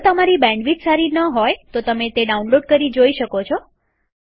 જો તમારી બેન્ડવિડ્થ સારી ન હોય તો તમે ડાઉનલોડ કરી તે જોઈ શકો છો